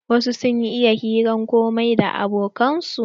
Wasu sun iya yin hiran komai da abokan su.